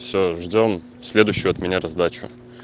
всё ждём следующую от меня раздачу